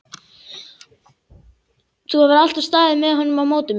Þú hefur alltaf staðið með honum á móti mér.